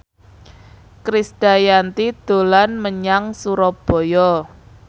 Krisdayanti dolan menyang Surabaya